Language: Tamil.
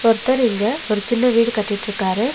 ஒருத்தர் இங்க ஒரு சின்ன வீடு கட்டிட்ருக்காரு.